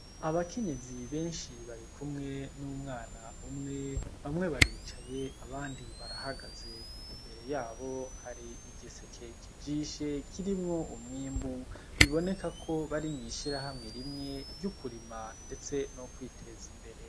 Abakenyezi benshi barikumwe numwana umwe, bamwe baricaye, abandi barahagaze. Imbere yabo hari igiseke kijishe kirimwo umwimbu biboneka ko bari mwishirahamwe rimwe ryo kurima ndetse no kwiteza imbere.